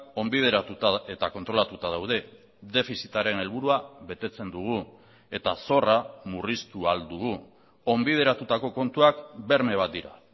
onbideratuta eta kontrolatuta daude defizitaren helburua betetzen dugu eta zorra murriztu ahal dugu onbideratutako kontuak berme bat dira